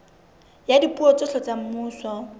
ya dipuo tsohle tsa semmuso